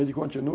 Ele continua.